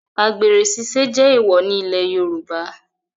Àgbèrè ṣiṣẹ́ jẹ́ èwọ̀ nílẹ̀ Yorùbá